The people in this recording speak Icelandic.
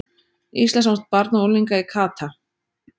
Íslandsmót barna og unglinga í kata